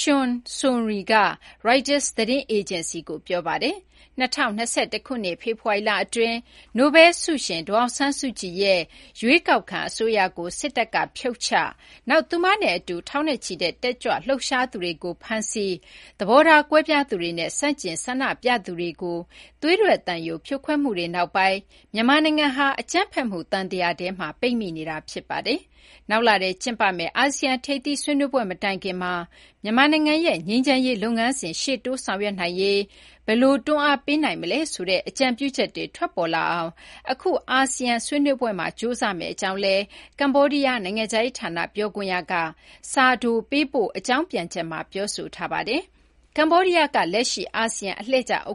Chum Sounry က ရိုက်တာ သတင်းအေဂျင်စီကို ပြောပါတယ်။ ၂၀၂၁ ခုနှစ် ဖေဖော်ဝါရီလ အတွင်း နိုဘဲလ် ဆုရှင် ဒေါ်အောင်ဆန်းစုကြည်ရဲ့ ရွေးကောက်ခံ အစိုးရကို စစ်တပ်က ဖြုတ်ချ၊ နောက် သူမနဲ့ အတူ ထောင်ချီတဲ့ တက်ကြွလှုပ်ရှားသူတွေကို ဖမ်းဆီး၊ သဘောထား ကွဲပြားသူတွေနဲ့ ဆန့်ကျင် ဆန္ဒပြသူတွေကို သွေးထွက်သံယို ဖြိုခွဲမှုတွေ နောက်ပိုင်း မြန်မာနိုင်ငံဟာ အကြမ်းဖက်မှု သံသရာထဲ ပိတ်မိနေတာ ဖြစ်ပါတယ်။ နောက်လထဲ ကျင်းပမယ့် အာဆီယံ ထိပ်သီး ဆွေးနွေးပွဲ မတိုင်ခင်မှာ မြန်မာနိုင်ငံရဲ့ ငြိမ်းချမ်းရေး လုပ်ငန်းစဉ် ရှေ့တိုး ဆောင်ရွက်နိုင်ရေး ဘယ်လို တွန်းအားပေးနိုင်မလဲ ဆိုတဲ့ အကြံပြုချက်တွေ ထွက်ပေါ်လာအောင် အခု အဆာဆီယံ ဆွေးနွေးပွဲမှာ ကြိုးစားကြမယ့် အကြောင်းလည်း ကမေ ္ဘာဒီးယား နိုင်ငံခြားရေး ဌာန ပြောခွင့်ရက စာတို ပေးပို့ အကြောင်းပြန်ချက်မှာ ပြောဆိုထားပါတယ်။ ကမေ ္ဘာဒီးယားက လက်ရှိ အာဆီယံ အလှည့်ကျ ဥက္က